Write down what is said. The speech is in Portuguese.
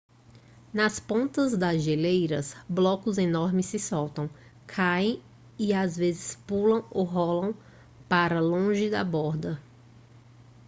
nas pontas das geleiras blocos enormes se soltam caem e por vezes pulam ou rolam para longe da borda